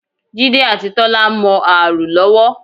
Jídé àti Tọ́lá ń mọ ààrò lọ́wọ́